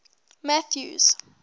mathews